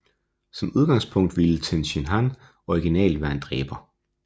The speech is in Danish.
Som udgangspunkt ville Tenshinhan originalt være en dræber